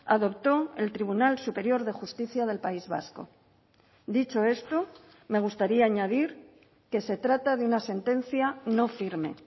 adoptó el tribunal superior de justicia del país vasco dicho esto me gustaría añadir que se trata de una sentencia no firme